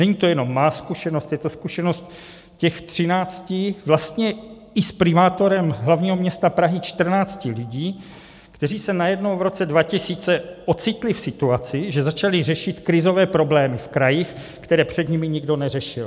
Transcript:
Není to jenom má zkušenost, je to zkušenost těch třinácti, vlastně i s primátorem hlavního města Prahy čtrnácti lidí, kteří se najednou v roce 2000 ocitli v situaci, že začali řešit krizové problémy v krajích, které před nimi nikdo neřešil.